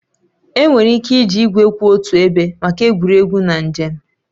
Enwere ike iji igwe kwụ otu ebe maka egwuregwu na njem